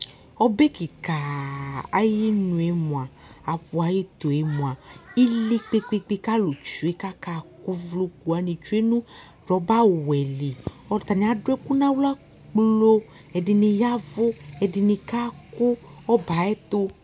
Ɔbɛ kikaaa ayi nué moa apu ayɛ tuɛ moa ili kpékpékpé ka alu tsué ka kaku uvloku wani tsue nu rɔba wɛ li atani adu ɛku na xlă kplo ɛdini ya vu ɛdini kaku ɔbɛ ayɛ tu